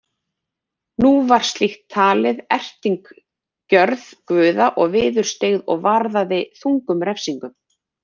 Nú var slíkt talið erting gjörð guði og viðurstyggð og varðaði þungum refsingum.